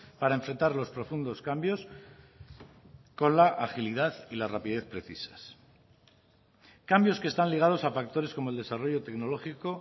para enfrentar los profundos cambios con la agilidad y la rapidez precisas cambios que están ligados a factores como el desarrollo tecnológico